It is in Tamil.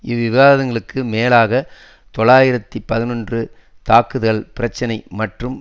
இவ்விவாதங்களுக்கு மேலாக தொளாயிரத்து பதினொன்று தாக்குதல் பிரச்சினை மற்றும்